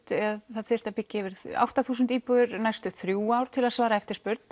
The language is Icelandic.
það þyrfti að byggja átta þúsund íbúðir næstu þrjú ár til þess að svara eftirspurn